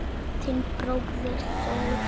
Þinn bróðir Þór.